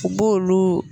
U b'olu